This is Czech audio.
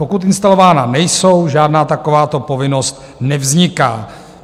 Pokud instalována nejsou, žádná takováto povinnost nevzniká.